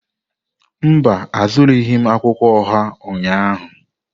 Mba, azụrụghị m akwụkwọ oha ụnyahụ.